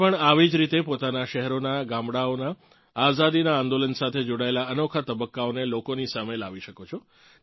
તમે પણ આવી જ રીતે પોતાનાં શહેરોનાં ગામડાંઓનાં આઝાદીનાં આંદોલન સાથે જોડાયેલ અનોખા તબક્કાઓને લોકોની સામે લાવી શકો છો